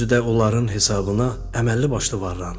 özü də onların hesabına əməlli başlı varlanıb.